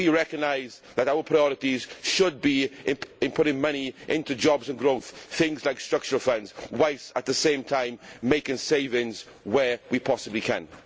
We recognise that our priorities should be in putting money into jobs and growth things like structural funds while at the same time making savings where we possibly can.